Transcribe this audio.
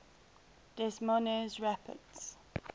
des moines rapids